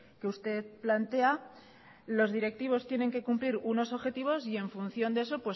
que usted plantea los directivos tienen que cumplir unos objetivos y en función de eso